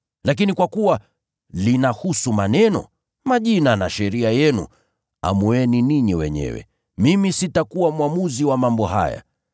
Lakini kwa kuwa linahusu maneno, majina na sheria yenu, amueni ninyi wenyewe. Mimi sitakuwa mwamuzi wa mambo haya.”